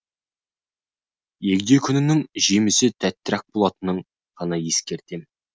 егде күніңнің жемісі тәттірек болатынын ғана ескертемін